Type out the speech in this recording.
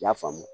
I y'a faamu